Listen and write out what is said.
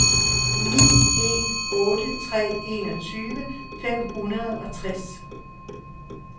ni en otte tre enogtyve fem hundrede og tres